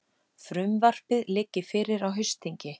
Frumvarpið liggi fyrir á haustþingi